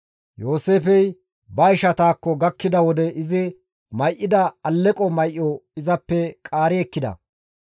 Yooseefey ba ishataakko gakkida wode izi may7ida alleqo may7o izappe qaari ekkida;